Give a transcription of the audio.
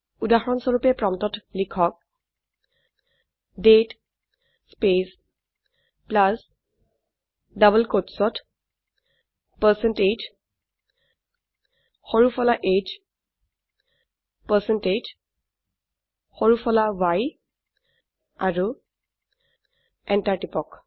উদাহৰনস্বৰুপে প্ৰম্পটত লিখক দাঁতে স্পেচ প্লাছ ডবল কোট্চত পাৰচেণ্টেজ সৰু ফলা h পাৰচেণ্টেজ সৰু ফলা y আৰু এন্টাৰ টিপক